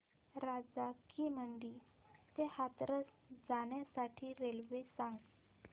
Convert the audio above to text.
राजा की मंडी ते हाथरस जाण्यासाठी रेल्वे सांग